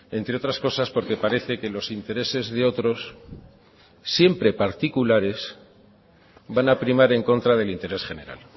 entre otras cosas porque parece que los intereses de otros siempre particulares van a primar en contra del interés general